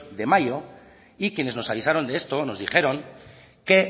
de mayo y quienes nos avisaron de esto nos dijeron que